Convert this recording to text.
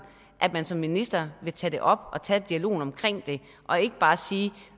at man som minister vil tage det op og tage dialogen omkring det og ikke bare sige